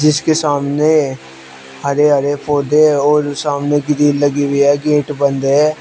इसके सामने हरे हरे पौधे और सामने ग्रिल लगी हुई है गेट बंद है।